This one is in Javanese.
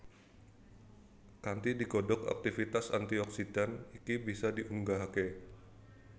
Kanthi digodhog aktivitas antioksidan iki bisa diunggahake